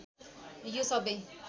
यो सबै